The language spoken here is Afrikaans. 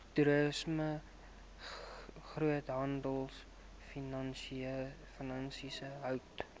toerisme groothandelfinansies hout